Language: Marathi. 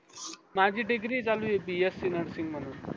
माझी degree चालूये bscnursing म्हणून